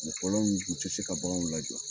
U fɔlɔ u tɛ se ka baganw lajɔ